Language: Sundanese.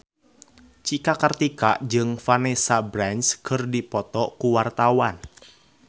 Cika Kartika jeung Vanessa Branch keur dipoto ku wartawan